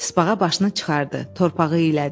Tısbağa başını çıxardı, torpağı iylədi.